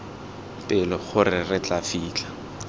pelo gore re tla fitlha